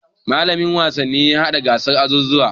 Mallamin wasanni ya haɗa gasar azuzuwa.